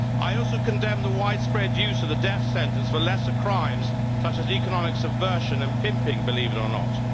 I also condemned the widespread use of the death sentence for lesser crimes such as economic subversion and pimping, believe it or not.